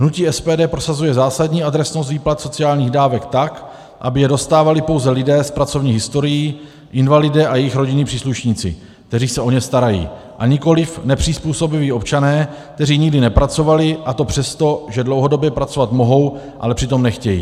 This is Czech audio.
Hnutí SPD prosazuje zásadní adresnost výplat sociálních dávek tak, aby je dostávali pouze lidé s pracovní historií, invalidé a jejich rodinní příslušníci, kteří se o ně starají, a nikoliv nepřizpůsobiví občané, kteří nikdy nepracovali, a to přesto, že dlouhodobě pracovat mohou, ale přitom nechtějí.